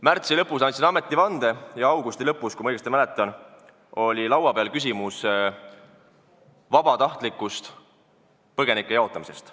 Märtsi lõpus andsin ametivande ja augusti lõpus, kui ma õigesti mäletan, oli laua peal küsimus vabatahtlikust põgenike jaotamisest.